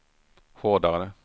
hårdare